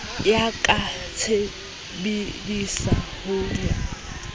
ya ka tshebedisa no ya